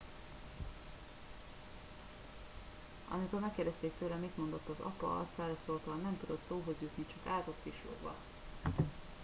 "amikor megkérdezték tőle mit mondott az apa azt válaszolta "nem tudott szóhoz jutni - csak állt ott pislogva.""